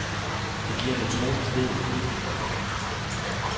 Det giver en utrolig frihed.